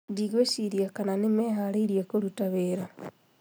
Ndigwĩciria kana nĩmeharĩrĩirie kũruta wĩra